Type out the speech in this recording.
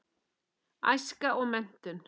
Æska og menntun